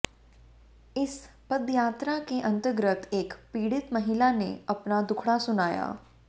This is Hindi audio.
इस पदयात्रा के अंतर्गत एक पीड़ित महिला ने अपना दुखड़ा सुनाया